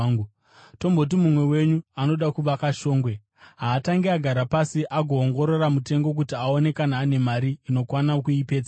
“Tomboti mumwe wenyu anoda kuvaka shongwe. Haatangi agara pasi agoongorora mutengo kuti aone kana ane mari inokwana kuipedza here?